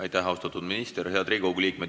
Aitäh, austatud minister!